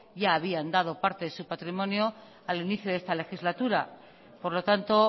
ya habían dado parte de su patrimonio al inicio de esta legislatura por lo tanto